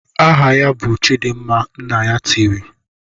"Aha ya bụ Chidimma!" Nna ya tiri.